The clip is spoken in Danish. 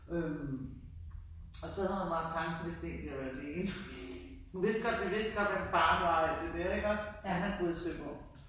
Øh og så havde hun bare tanken det skal ikke være alene hun vidste vi vidste godt godt hvem faren var og alt det der ikke også men han boede i Søborg